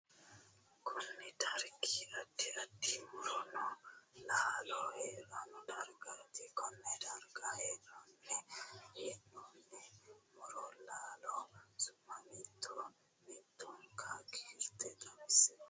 Kunni dargi addi addi muronna laallo hiranni dargaati konne darga hiranni hee'noonni muronna laallo su'ma mito mitonka kiirte xawise kuli?